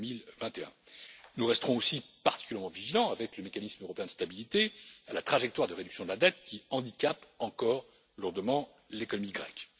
2021. Nous resterons aussi particulièrement vigilants, avec le mécanisme européen de stabilité, à la trajectoire de réduction de la dette qui handicape encore lourdement l'économie grecque.